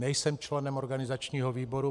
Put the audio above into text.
Nejsem členem organizačního výboru.